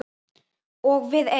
Og við eig